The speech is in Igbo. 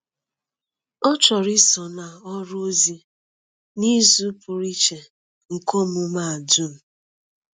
Ọ chọrọ iso na ọrụ ozi n’izu pụrụ iche nke omume a dum.